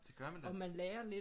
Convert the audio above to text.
Det gør man nemlig